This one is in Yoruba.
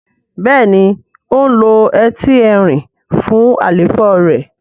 béèni o ló Ẹti Ẹrin fún àléfọ rẹ.